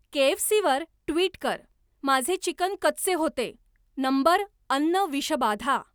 KFC वर tweet कर माझे चिकन कच्चे होते नंबर अन्न विषबाधा